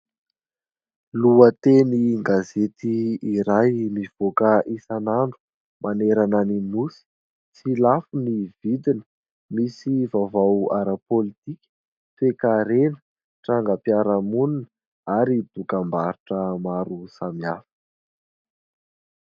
Lohatenin'gazety iray mivoaka isanandro manerana ny nosy. Tsy lafo ny vidiny. Misy vaovao ara-pôlitika, toe-karena, trangam-piarahamonina ary dokam-barotra maro samihafa.